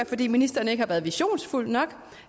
fordi ministeren ikke har været visionær nok